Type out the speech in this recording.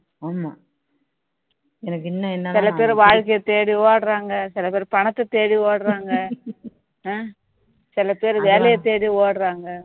சில பேரு வாழ்கைய தேடி ஓடுறாங்க சில பேரு பணத்தை தேடி ஓடுறாங்க சில பேரு வேலைய தேடி ஓடுறாங்க